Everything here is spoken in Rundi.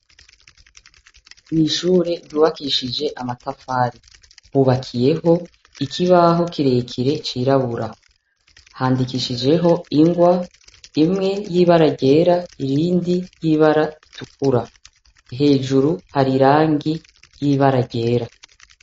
Ishure ryubakishije amatafari, hubakiyeho ikibaho kirekire cirabura, handikishijeho ingwa imwe y'ibara ryera iyindi y'ibara ritukura. Hejuru hari irangi ry'ibara ryera.